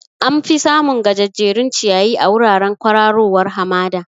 Am fi samun gajejjerun ciyayi a wuraren kwararowar hamada